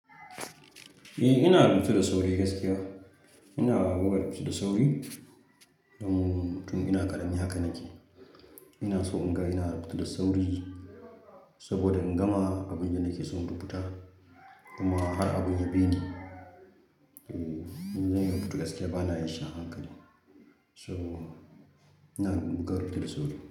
Eh, ina rubutu da sauri gaskiya. Ina da rubutu da sauri domin tun ina ƙarami haka nake. Ina so in ga ina rubutu da sauri saboda in gama abin da nake son rubuta. Kuma har abin ya bi ni, eh, in zan yi rubutu gaskiya bana yin shi a hankali. So ina ga da rubutu da sauri.